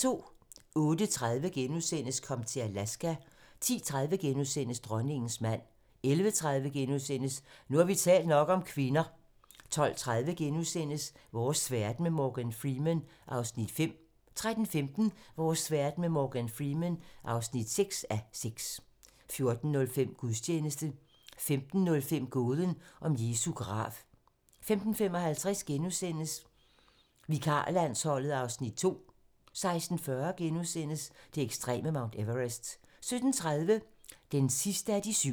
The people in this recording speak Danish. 08:30: Kom til Alaska * 10:30: Dronningens mand * 11:30: Nu har vi talt nok om kvinder * 12:30: Vores verden med Morgan Freeman (5:6)* 13:15: Vores verden med Morgan Freeman (6:6) 14:05: Gudstjeneste 15:05: Gåden om Jesu grav 15:55: Vikarlandsholdet (Afs. 2)* 16:40: Det ekstreme Mount Everest * 17:30: Den sidste af de syv